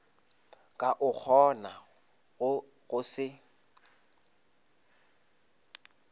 ka o kgonago go se